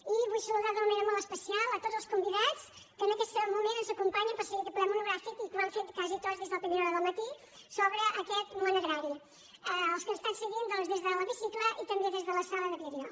i vull saludar d’una manera molt especial a tots els convidats que en aquest moment ens acompanyen per seguir aquest ple monogràfic i que ho han fet quasi tots des de la primera hora del matí sobre aquest món agrari els que l’estan seguint doncs des de l’hemicicle i també des de la sala de vídeo